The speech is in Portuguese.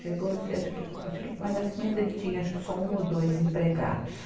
Chegou a ser, acho que, acho que mais ou menos, ele tinha acho que só um ou dois empregados.